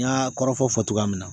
N y'a kɔrɔfɔfɔ fɔ togoya min na